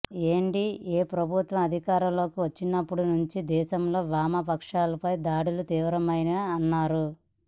NDA ప్రభుత్వం అధికారంలోకి వచ్చినప్పటి నుంచి దేశంలో వామపక్షాలపై దాడులు తీవ్రమైనాయని అన్నారు